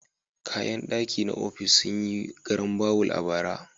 Kayan ɗaki na ofis sun yi garambawul a bara.